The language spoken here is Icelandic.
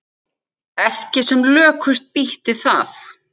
Ekki sem lökust býti það.